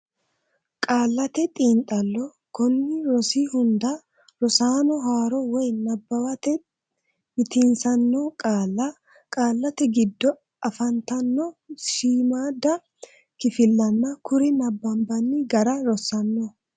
Qaallate Xiinxallo Konni rosi hunda rosaano haaro woy nabbawate mitiinsitanno qaalla, qaallate giddo afantanno shiimmaadda kifillanna kuri nabbanbanni gara rossanno.